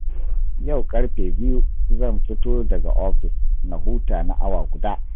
Yau ƙarfe biyu zan fito daga ofis na huta na awa guda